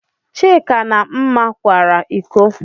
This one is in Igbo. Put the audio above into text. Chika na Mma kwara ịkọ.